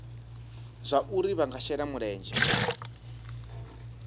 zwauri vha nga shela mulenzhe